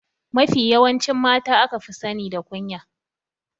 Mafi yawancin mata aka fi sani da kunya.